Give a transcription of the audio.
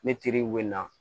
Ne teriw bɛ na